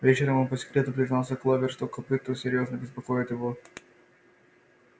вечером он по секрету признался кловер что копыто серьёзно беспокоит его